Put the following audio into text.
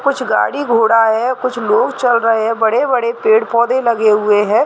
कुछ गाड़ी-घोड़ा है कुछ लोग चल रहे है बड़े-बड़े पेड़-पौधे लगे हुए है ।